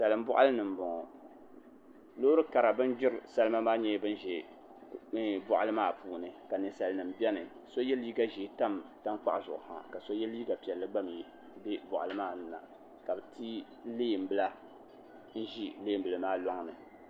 Salin boɣali ni n boŋo loori kara bin ʒiri salima maa nyɛla bin ʒi boɣali maa puuni ka ninsal nim biɛni so yɛ liiga ʒiɛ tam tankpaɣu zuɣu ha ka so yɛ liiga piɛlli gba mii bɛ boɣali maa ni la ka bi ti leen bila n ʒi leen bili maa loŋni